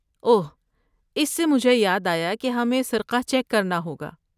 اوہ! اس سے مجھے یاد آیا کہ ہمیں سرقہ چیک کرنا ہوگا۔